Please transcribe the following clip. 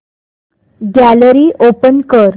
gallery open कर